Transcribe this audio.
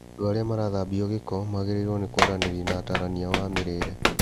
Andũ arĩa marathambio gĩko magĩrĩirwo nĩkwaranĩria na atarani ao a mĩrĩre